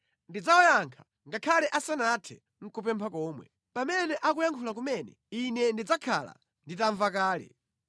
Ndidzawayankha ngakhale asanathe nʼkupempha komwe. Pamene akuyankhula kumene Ine ndidzakhala nditamva kale.